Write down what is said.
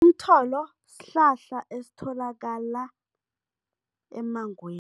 Umtholo sihlahla esitholakala emmangweni